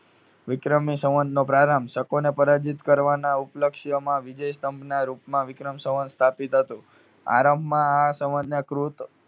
વિક્રમી સંવંતનો પ્રારંભ શકોને પરાજિત કરવાના ઉપલક્ષ્યમાં વિજય સ્તંભના રૂપમાં વિક્રમ સંવંત સ્થાપિત હતું. આરંભમાં આ સંવંતને કૃત